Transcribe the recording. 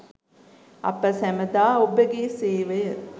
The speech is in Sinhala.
අප සැමදා ඔබගේ සේවය